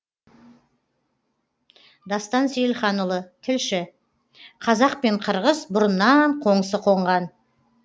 дастан сейілханұлы тілші қазақ пен қырғыз бұрыннан қоңсы қонған